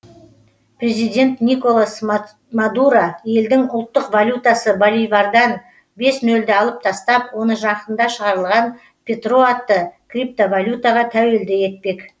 президент николас мадуро елдің ұлттық валютасы боливардан бес нөлді алып тастап оны жақында шығарылған петро атты криптовалютаға тәуелді етпек